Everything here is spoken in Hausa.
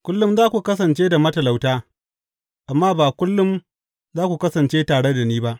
Kullum za ku kasance da matalauta, amma ba kullum za ku kasance tare da ni ba.